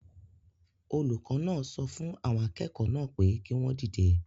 Olùkọ́ náà so fun àwọn akẹ́kọ̀ọ́ naa pe ki won dide